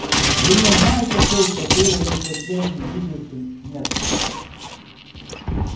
вы не знаете точно было ли в последнем видевшим нестора